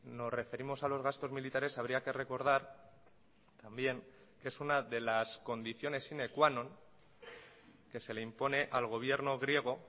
nos referimos a los gastos militares habría que recordar también que es una de las condiciones sine qua non que se le impone al gobierno griego